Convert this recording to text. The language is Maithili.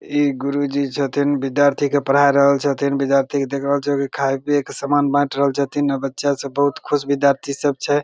इ गुरु जी छथीन विद्यार्थी के पढ़ा रहल छथीन विद्यार्थी के देख रहल छीये की खाय पीए के सामान बांट रहल छथीन अ बच्चा सब बहुत खुश विद्यार्थी सब छै।